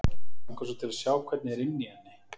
Mig langar svo til að sjá hvernig er inni í henni.